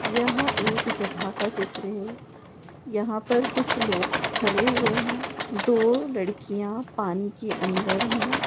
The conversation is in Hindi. यह एक जगह का चित्र है यहाँ पर कुछ लोग खड़े हुए है दो लड़किया पानी के अंदर है।